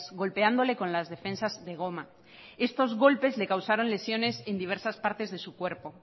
golpeándole con las defensas de goma estos golpes le causaron lesiones en diversas partes de su cuerpo